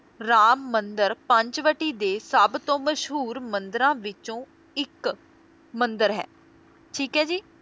ਰਾਮ ਮੰਦਿਰ ਪੰਚਵਟੀ ਦੇ ਸਭਤੋਂ ਮਸ਼ਹੂਰ ਮੰਦਿਰਾਂ ਵਿੱਚੋਂ ਇੱਕ ਮੰਦਿਰ ਹੈ, ਠੀਕ ਹੈ ਜੀ